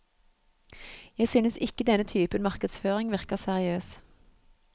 Jeg synes ikke denne typen markedsføring virker seriøs.